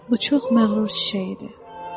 Bu çox məğrur çiçəyi idi.